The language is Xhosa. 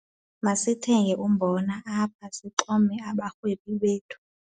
Masithenge umbona apha sixume abarhwebi bethu.